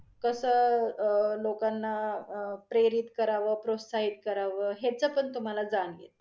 कस अं लोकांना अं प्रेरित करावं, प्रोत्साहित करव ह्याच पण जान येत.